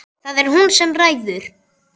Það er hún sem ræður.